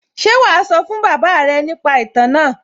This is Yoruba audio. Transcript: Ṣé wàá sọ fún bàbá rẹ̀ nípa ìtàn náà?